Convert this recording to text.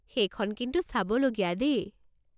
সেইখন কিন্তু চাবল'গীয়া দেই।